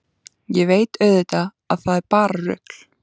Ég veit auðvitað að það er bara rugl.